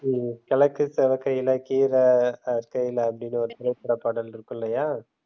உம் கிழக்கு சிவக்கையில கீரை அறுக்கையில அப்படின்னு ஒரு திரைப்பட பாடல் இருக்கு இல்லையா?